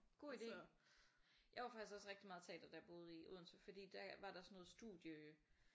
God idé. Jeg var faktisk også rigtig meget i teateret da jeg boede i Odense fordi der var sådan noget studie øh